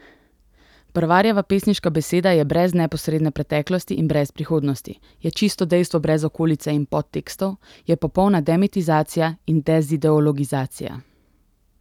Brvarjeva pesniška beseda je brez neposredne preteklosti in brez prihodnosti, je čisto dejstvo brez okolice in podtekstov, je popolna demitizacija in dezideologizacija.